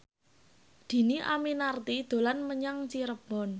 Dhini Aminarti dolan menyang Cirebon